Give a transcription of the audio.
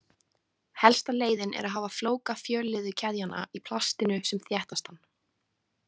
Helsta leiðin er að hafa flóka fjölliðukeðjanna í plastinu sem þéttastan.